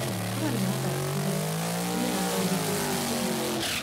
Korwo nĩ mathakire, nĩ mĩthako ĩrĩkũ na makinyire kũũ?